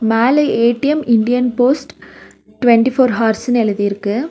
மேல A T M Indian post twenty four ஹார்ஸ்னு எழுதிருக்கு.